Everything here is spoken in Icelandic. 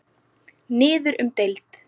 Niður um deild